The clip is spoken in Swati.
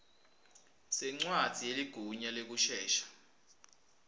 sencwadzi yeligunya lekusesha